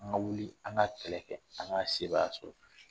An la wuli an ka kɛlɛ kɛ, an ka sebaya sɔrɔ!